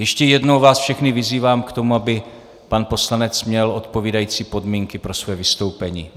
Ještě jednou vás všechny vyzývám k tomu, aby pan poslanec měl odpovídající podmínky pro svoje vystoupení.